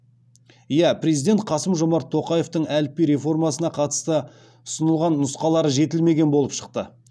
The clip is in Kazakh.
иә президент қасым жомарт тоқаевтың әліпби реформасына қатысты ұсынылған нұсқалары жетілмеген болып шықты